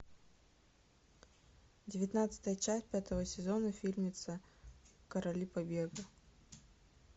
девятнадцатая часть пятого сезона фильмеца короли победы